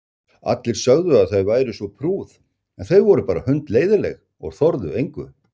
Allir sögðu að þau væru svo prúð en þau voru bara hundleiðinleg og þorðu engu.